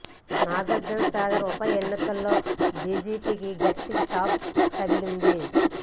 నాగార్జున్ సాగర్ ఉప ఎన్నికల్లో బీజేపీకి గట్టి షాక్ తగిలింది